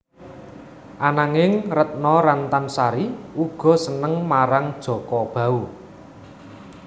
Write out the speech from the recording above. Ananging Retno Rantan Sari uga seneng marang Jaka Bahu